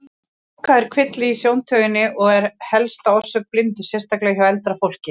Gláka er kvilli í sjóntauginni og er helsta orsök blindu, sérstaklega hjá eldra fólki.